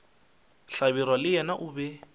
hlabirwa le yena o be